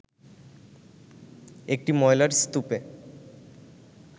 একটি ময়লার স্তূপে